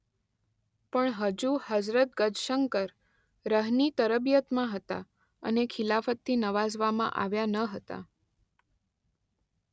પણ હજુ હઝરત ગજશંકર રહ.ની તરબિયતમાં હતા અને ખિલાફતથી નવાઝવામાં આવ્યા ન હતા.